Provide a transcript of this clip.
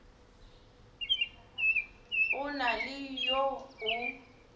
go na le yo o